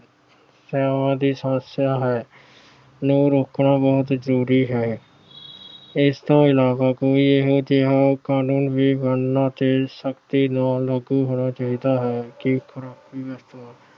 ਸਮੱਸਿਆਵਾਂ ਦੀ ਹੈ, ਨੂੰ ਰੋਕਣਾ ਬਹੁਤ ਜਰੂਰੀ ਹੈ। ਇਸ ਤੋਂ ਇਲਾਵਾ ਕੋਈ ਇਹੋ ਜਿਹਾ ਕਾਨੂੰਨ ਬਣਨਾ ਤੇ ਸਖਤੀ ਨਾਲ ਲਾਗੂ ਹੋਣਾ ਚਾਹੀਦਾ ਹੈ।